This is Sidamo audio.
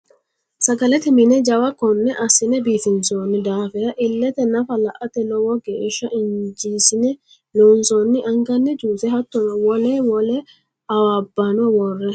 Sagalete mine jawa kone assine biifinsonni daafira ilete nafa la"ate lowo geeshsha injesine loonsonni angani juse hattono wole wole awabbano worre.